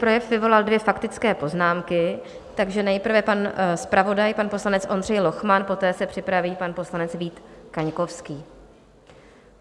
Projev vyvolal dvě faktické poznámky, takže nejprve pan zpravodaj, pan poslanec Ondřej Lochman, poté se připraví pan poslanec Vít Kaňkovský.